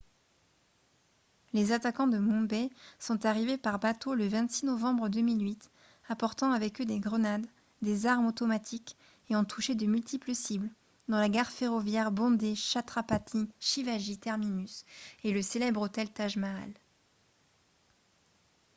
les attaquants de mumbai sont arrivés par bateau le 26 novembre 2008 apportant avec eux des grenades des armes automatiques et ont touché de multiples cibles dont la gare ferroviaire bondée chhatrapati shivaji terminus et le célèbre hôtel taj mahal